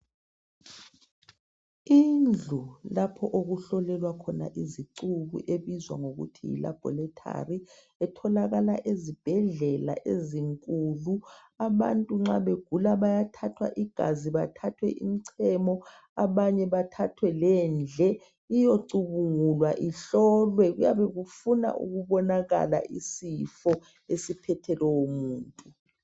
Indlu lapha okuhlolelwa khona izicu ebizwa kuthiwa yi laboratory etholakala ezibhedlela ezinkulu abantu nxa begula bayathathwa igazi bathathwe imicemo abanye bathathwe lemiphendle iyecubungulwa ihlolwe kuyabe kufuna ukubonakala isifo esiphethe lowo muntu